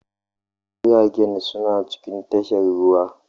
Jiragen suna cikin tashar ruwa.